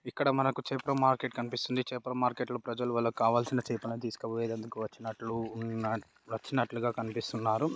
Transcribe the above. ఇక్కడ మనకు చేపల మార్కెట్ కనిపిస్తుంది. చేపల మార్కెట్ ప్రజలు వాళ్ళకి కావాల్సిన చేపలను తీసుకుపోయేతందుకు వచ్చినట్టు ఉన్నా వచ్చినట్టుగా కనిపిస్తున్నారు.